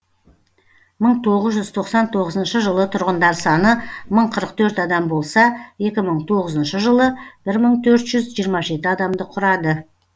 мың тоғыз жүз тоқсан тоғызыншы жылы тұрғындар саны мың қырық төрт адам болса екі мың тоғызыншы жылы бір мың төрт жүз жиырма жеті адамды құрады